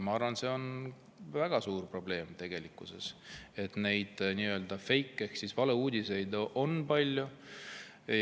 Ma arvan, et see on väga suur probleem, et neid nii-öelda feik‑ ehk valeuudiseid on palju.